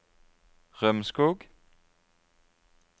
Rømskog